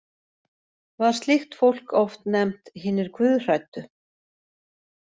Var slíkt fólk oft nefnt hinir guðhræddu.